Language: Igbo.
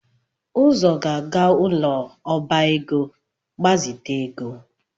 Uzo ga-aga ụlọ ọba ego, ịgbazite ego